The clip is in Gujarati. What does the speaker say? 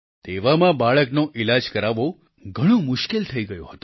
તેવામાં બાળકનો ઈલાજ કરાવવો ઘણું મુશ્કેલ થઈ ગયું હતું